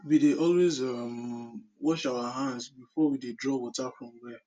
we dey always um wash our hands before we dey draw water from well